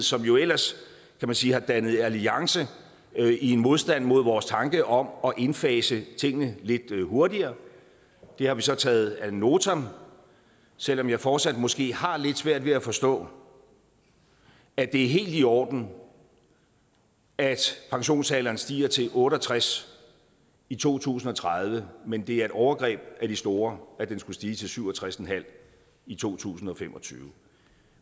som jo ellers kan man sige har dannet alliance i en modstand mod vores tanke om at indfase tingene lidt hurtigere det har vi så taget ad notam selv om jeg fortsat måske har lidt svært ved at forstå at det er helt i orden at pensionsalderen stiger til otte og tres i to tusind og tredive men at det er et overgreb af de store at den skulle stige til syv og tres en halv i to tusind og fem og tyve